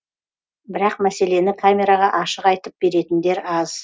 бірақ мәселені камераға ашық айтып беретіндер аз